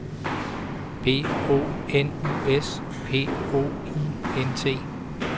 B O N U S P O I N T